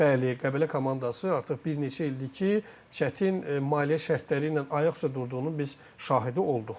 Bəli, Qəbələ komandası artıq bir neçə ildir ki, çətin maliyyə şərtləri ilə ayaq üstə durduğunun biz şahidi olduq.